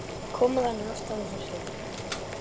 Koma þannig aftan að fólki!